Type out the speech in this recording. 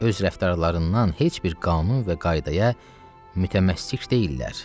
Öz rəftarlarından heç bir qanun və qaydaya mütəməssik deyillər.